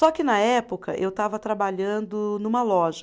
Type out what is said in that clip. Só que, na época, eu estava trabalhando numa loja.